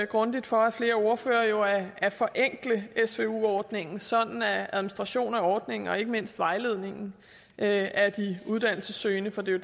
grundigt for af flere ordførere jo at at forenkle svu ordningen sådan at administrationen af ordningen og ikke mindst vejledningen af de uddannelsessøgende for det er